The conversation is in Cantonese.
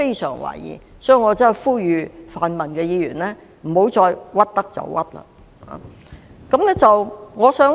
所以，我呼籲泛民議員不要再"屈得就屈"。